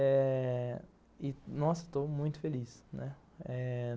É... nossa, eu estou muito feliz, né?